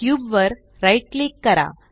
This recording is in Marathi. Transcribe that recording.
क्यूब वर राइट क्लिक करा